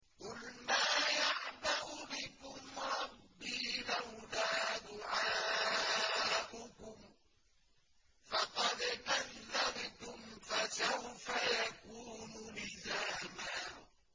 قُلْ مَا يَعْبَأُ بِكُمْ رَبِّي لَوْلَا دُعَاؤُكُمْ ۖ فَقَدْ كَذَّبْتُمْ فَسَوْفَ يَكُونُ لِزَامًا